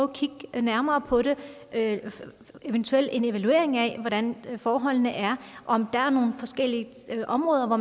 kigge nærmere på det eventuelt lave en evaluering af hvordan forholdene er om der er nogle forskellige områder hvor